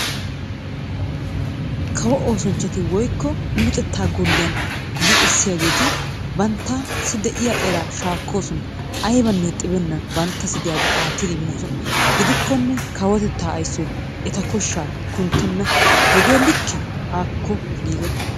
Kawo oosanchchati woyikko luxettaa golliyan luxissiyageeti banttassi diya eraa shaakkoosona. Ayibanne xibennan banttassi diyagaa aattidi immoosona. Gidikkonne kawotettaa ayisoy eta koshshaa kunttenna. Hegee like? Haakko giigo.